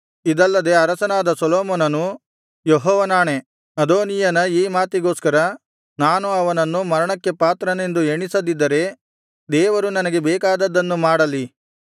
ಇದಲ್ಲದೆ ಅರಸನಾದ ಸೊಲೊಮೋನನು ಯೆಹೋವನಾಣೆ ಅದೋನೀಯನ ಈ ಮಾತಿಗೋಸ್ಕರ ನಾನು ಅವನನ್ನು ಮರಣಕ್ಕೆ ಪಾತ್ರನೆಂದು ಎಣಿಸದಿದ್ದರೆ ದೇವರು ನನಗೆ ಬೇಕಾದದ್ದನ್ನು ಮಾಡಲಿ